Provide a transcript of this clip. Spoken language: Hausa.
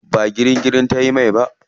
Ba girin girin ba tayi mai.